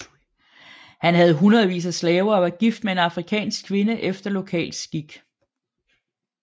Han havde hundredvis af slaver og var gift med en afrikansk kvinde efter lokal skik